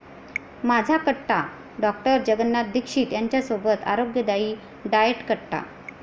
माझा कट्टा । डॉ. जगनाथ दीक्षित यांच्यासोबत आरोग्यदायी डाएटकट्टा